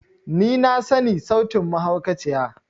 Ni na sani sautin mahaukaciya.